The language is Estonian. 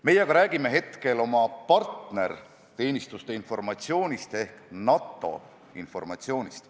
Meie aga räägime praegu oma partnerteenistuste informatsioonist ehk NATO informatsioonist.